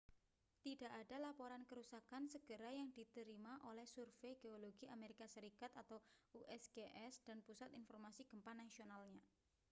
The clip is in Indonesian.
tidak ada laporan kerusakan segera yang diterima oleh survei geologi amerika serikat usgs dan pusat informasi gempa nasionalnya